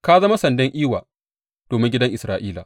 Ka zama sandan iwa domin gidan Isra’ila.